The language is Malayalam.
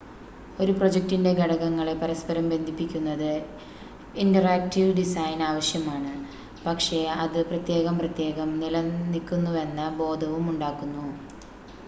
ഒരു പ്രോജക്റ്റിൻ്റെ ഘടകങ്ങളെ പരസ്പരം ബന്ധിപ്പിക്കുന്നത് ഇൻ്റെറാക്ടീവ് ഡിസൈന് ആവശ്യമാണ് പക്ഷേ അത് പ്രത്യേകം പ്രത്യേകം നിലനിക്കുന്നുവെന്ന ബോധവും ഉണ്ടാക്കുന്നു